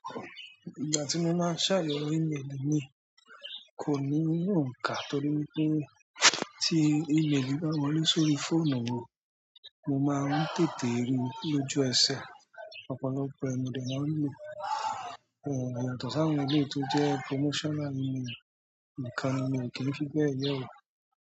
Ìgbà tí mo máa ń ṣàyẹ̀wò email mi kò ní òǹkà torí wí pé tí email bá wọlé sórí fóònù mi mo máa ń tètè ríi lójú ẹsẹ̀, ọ̀pọ̀lọpọ̀ ẹ múdẹ̀ máa ń lo, ẹ̀ yàtọ̀ si àwọn eléyìí to jẹ́ promotional email nìkan ni mi ò kí ń fi bẹ́ẹ̀ yẹ ó.